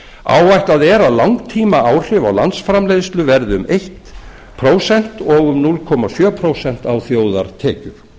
áætlað er að langtímaáhrif á landsframleiðslu verði um eitt prósent og um núll komma sjö prósent á þjóðartekjur